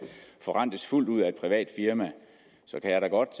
forrentes fuldt ud af et privat firma kan jeg da godt